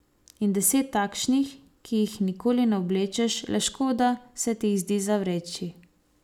In deset takšnih, ki jih nikoli ne oblečeš, le škoda se ti jih zdi zavreči.